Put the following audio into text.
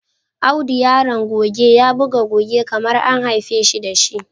Audo Yaron goge ya buga goge kamar an haifeshi dashi.